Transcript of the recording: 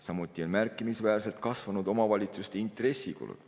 Samuti on märkimisväärselt kasvanud omavalitsuste intressikulud.